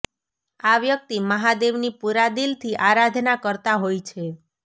આ વ્યક્તિ મહાદેવની પૂરા દિલથી આરાધના કરતા હોય છે